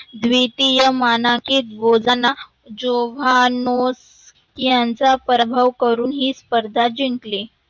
द्वितीय मानांकित जोभानोत यांचा पराभव करू ही जिंकली.